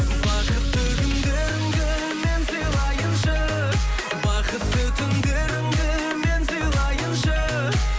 бақытты күндеріңді мен сыйлайыншы бақытты түндеріңді мен сыйлайыншы